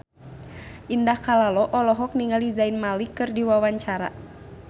Indah Kalalo olohok ningali Zayn Malik keur diwawancara